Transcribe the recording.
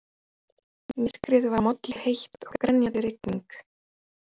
Myrkrið var molluheitt og grenjandi rigning.